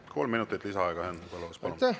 Kolm minutit lisaaega, Henn Põlluaas, palun!